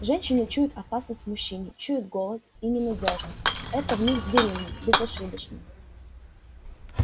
женщины чуют опасность в мужчине чуют голод и ненадёжность это в них звериное безошибочное